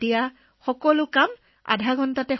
আধা ঘণ্টাৰ ভিতৰত সকলো কাম সম্পূৰ্ণ কৰিব পাৰিব